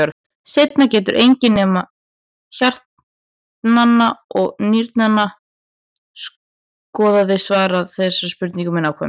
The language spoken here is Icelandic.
Sennilega getur enginn nema hjartnanna og nýrnanna skoðari svarað þessari spurningu með nákvæmni.